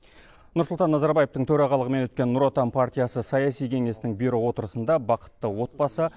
нұрсұлтан назарбаевтың төрағалымен өткен нұр отан партиясы саяси кеңесінің бюро отырысында бақытты отбасы